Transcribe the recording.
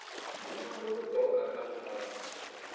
ṅwalo lu bvaho kha khamphani